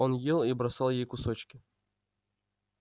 он ел и бросал ей кусочки